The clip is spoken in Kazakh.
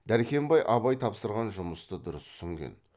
дәркембай абай тапсырған жұмысты дұрыс түсінген